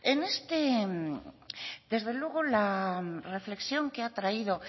desde luego la reflexión que ha traído